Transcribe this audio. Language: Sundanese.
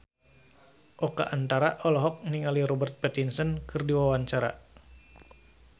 Oka Antara olohok ningali Robert Pattinson keur diwawancara